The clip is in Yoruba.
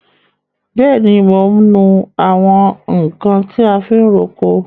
Bẹẹni, mo ń nu àwọn nkan ti a fi ń roko.